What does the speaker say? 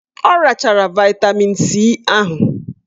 Ọ rachachara vaịtamin C ahụ.